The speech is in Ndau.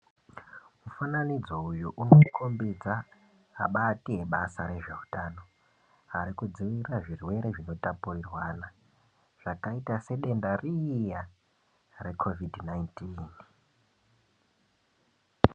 Mufananidzo uyu unokombidza abati abasa rezveutano ari kudzivirira zvirwere zvinotapurirwana zvakaita sedenda riya rekovhidhi 19.